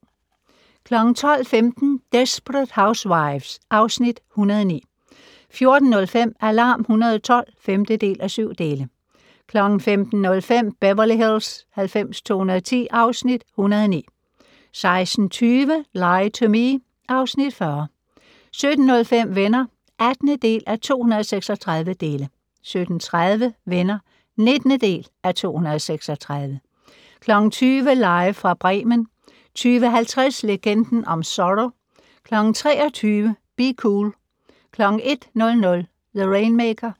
12:15: Desperate Housewives (Afs. 109) 14:05: Alarm 112 (5:7) 15:05: Beverly Hills 90210 (Afs. 109) 16:20: Lie to Me (Afs. 40) 17:05: Venner (18:236) 17:30: Venner (19:236) 20:00: Live fra Bremen 20:50: Legenden om Zorro 23:00: Be Cool 01:00: The Rainmaker